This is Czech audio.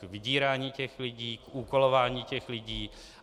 k vydírání těch lidí, k úkolování těch lidí.